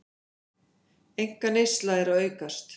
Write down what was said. Einkaneysla að aukast